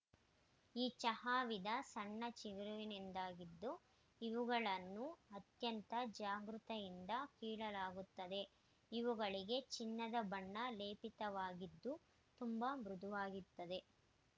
ಈ ಚಹಾ ವಿಧ ಸಣ್ಣ ಚಿಗುರುವಿನದ್ದಾಗಿದ್ದು ಇವುಗಳನ್ನು ಅತ್ಯಂತ ಜಾಗೃತೆಯಿಂದ ಕೀಳಲಾಗುತ್ತದೆ ಇವುಗಳಿಗೆ ಚಿನ್ನದ ಬಣ್ಣ ಲೇಪಿತವಾಗಿದ್ದು ತುಂಬಾ ಮೃದುವಾಗಿದೆ